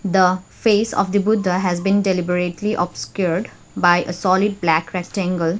the face of the buddha has been deliberately obscured by a solid black rectangle.